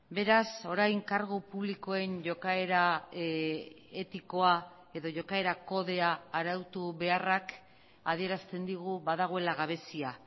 beraz orain kargu publikoen jokaera etikoa edo jokaera kodea arautu beharrak adierazten digu badagoela gabezia